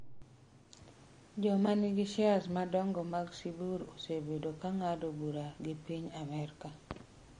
Joma nigi shares madongo mag Sibur osebedo ka ng’ado bura gi piny Amerka.